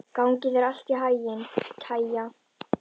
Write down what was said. Gangi þér allt í haginn, Kæja.